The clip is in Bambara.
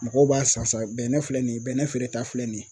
Mɔgɔw b'a san san bɛnɛ filɛ nin ye bɛnɛ feereta filɛ nin ye.